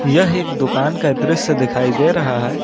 यह एक दुकान का दृश्य दिखाई दे रहा है।